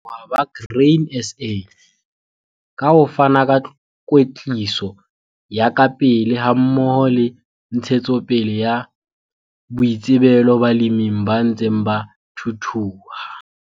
A leboha ba Grain SA ka ho fana ka kwetliso ya kapele hammoho le ntshetsopele ya boitsebelo baleming ba ntseng ba thuthuha.